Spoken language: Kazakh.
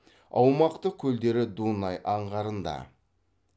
аумақтық көлдері дунай аңғарында